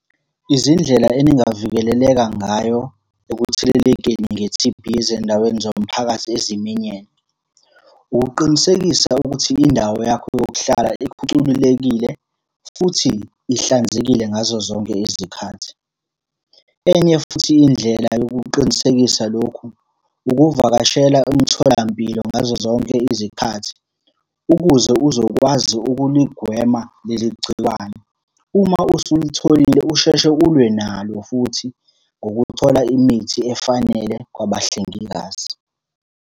Izindlela eningavikeleleka ngayo ekuthelelekeni nge-T_B ezindaweni zomphakathi eziminyene. Ukuqinisekisa ukuthi indawo yakho yokuhlala ikhucululekile, futhi ihlanzekile ngazo zonke izikhathi. Enye futhi indlela yokuqinisekisa lokhu, ukuvakashela umtholampilo ngazo zonke izikhathi ukuze uzokwazi ukuligwema leli gciwane. Uma usulitholile usheshe ulwe nalo futhi ngokuthola imithi efanele kwabahlengikazi.